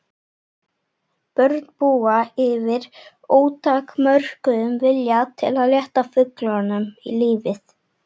Börn búa yfir ótakmörkuðum vilja til að létta fullorðnum lífið.